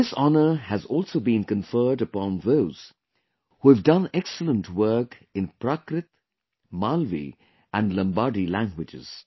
This honor has also been conferred upon those who have done excellent work in Prakrit, Malvi and Lambadi languages